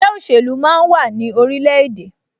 Ẹgbẹ́ òṣèlú máa ń wà ní orilẹ̀-èdè